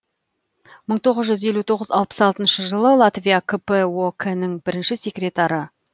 мың тоғыз жүз елу тоғыз алпыс алтыншы жылы латвия кп ок нің бірінші секретары